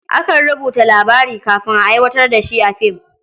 Akan rubuta labari kafin a aiwatar da shi a film.